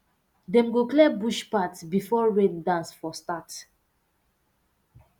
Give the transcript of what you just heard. dem go clear bush path before rain dance um start